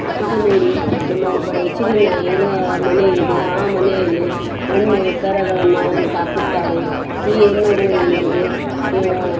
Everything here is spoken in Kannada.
ಇದು ನೋಡಿ ನಮ್ಮ ಒಬ್ಬ ರಯ್ಚೂರಿನ ಇರುವ ಮನೆ ಇದೆ ಆ ಮನೆಯಲ್ಲಿ ಎಮ್ಮೆ ಕರಗಳನ್ನು ಅವರು ಸಾಕುತ್ತಾರೆ ಈ ಎಮ್ಮೆ ಆಹ್ಹ್ --